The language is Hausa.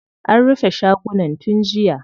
An rufe shagunan tun jiya.